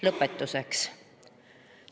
Lõpetuseks.